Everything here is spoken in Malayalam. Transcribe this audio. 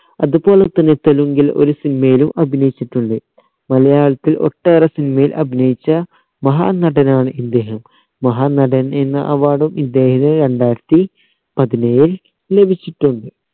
അതുപോലെ തന്നെ തെലുങ്കിൽ ഒരു cinema യിലും അഭിനയിച്ചിട്ടുണ്ട് മലയത്തിൽ ഒട്ടേറെ cinema യിൽ അഭിനയിച്ച മഹാനടനാണ് ഇദ്ദേഹം മഹാനടൻ എന്ന award ഉം ഇദ്ദേഹത്തിന് രണ്ടായിരത്തി പതിനേഴിൽ ലഭിച്ചിട്ടുണ്ട്